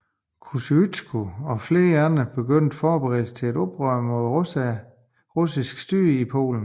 Kościuszko og flere andre begyndte forberedelserne til et oprør mod det russiske styre i Polen